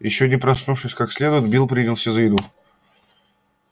ещё не проснувшись как следует билл принялся за еду